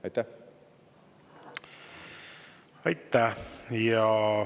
Aitäh!